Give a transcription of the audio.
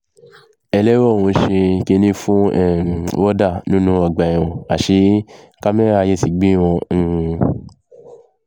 ẹlẹ́wọ̀n ń ṣe kínní fún um wọ́ọ̀dà nínú ọgbà ẹ̀wọ̀n àṣẹ kámẹ́rà ayé ti gbé wọn um